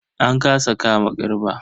An kasa kama Garba.